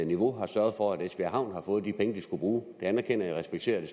niveau og har sørget for at esbjerg havn har fået de penge de skulle bruge det anerkender og respekterer jeg